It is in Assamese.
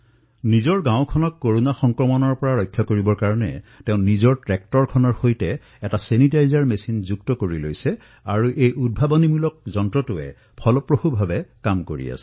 নিজৰ গাঁওখনক কৰোনাৰ সংক্ৰমণৰ পৰা ৰক্ষা কৰাৰ বাবে তেওঁ নিজৰ ট্ৰেক্টৰখনৰ সৈতে এক ছেনিটাইজেছন যন্ত্ৰ সংযোজিত কৰি লৈছে আৰু এই উদ্ভাৱনী যন্ত্ৰ অতিশয় প্ৰভাৱী ধৰণে কাম কৰিছে